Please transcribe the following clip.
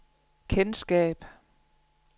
kendskab